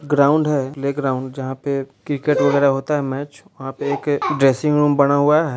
ground है playground जहाँ पे क्रिकेट वगैरह होता है मैच | वहाँ पे एक ड्रेसिंग रूम बना हुआ है |